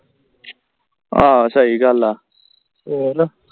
ਹਾਂ ਸਹੀ ਗੱਲ ਆ